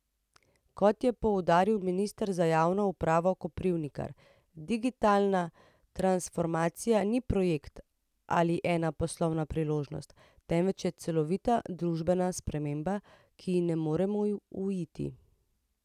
Kot je poudaril minister za javno upravo Koprivnikar, digitalna transformacija ni projekt ali ena poslovna priložnost, temveč je celovita družbena sprememba, ki ji ne moremo uiti.